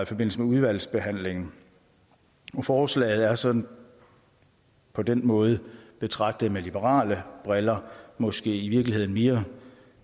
forbindelse med udvalgsbehandlingen forslaget er sådan på den måde betragtet med liberale briller måske i virkeligheden mere